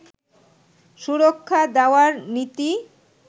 সুরক্ষা দেওয়ার নীতি